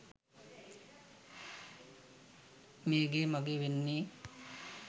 මේ ගේ මගේ වෙන්නෙ.